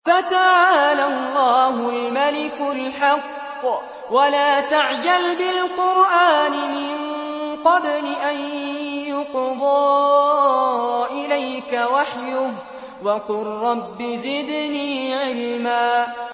فَتَعَالَى اللَّهُ الْمَلِكُ الْحَقُّ ۗ وَلَا تَعْجَلْ بِالْقُرْآنِ مِن قَبْلِ أَن يُقْضَىٰ إِلَيْكَ وَحْيُهُ ۖ وَقُل رَّبِّ زِدْنِي عِلْمًا